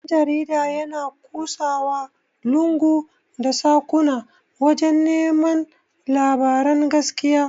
Dan-jarida yana ƙusawa lungu da saƙuna wajan neman labaran gaskiya.